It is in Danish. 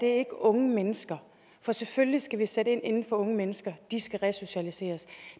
er ikke unge mennesker for selvfølgelig skal vi sætte ind over for unge mennesker de skal resocialiseres